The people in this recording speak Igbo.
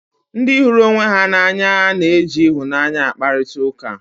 Ndị hụrụ onwe ha n'anya na-eji ịhụnanya akparịta ụka